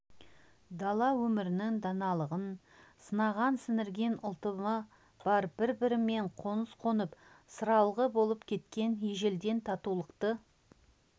дала өмірінің даналығын санаға сіңірген ұлтымы бар бір-бірімен қоңсы қонып сыралғы болып кеткен ежелден татулықты